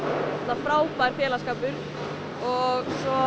frábær félagsskapur og